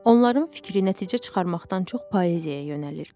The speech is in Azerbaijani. Onların fikri nəticə çıxarmaqdan çox poeziyaya yönəlirdi.